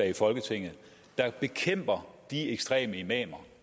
i folketinget der bekæmper de ekstreme imamer